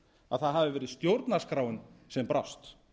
að það hafi verið stjórnarskráin sem brást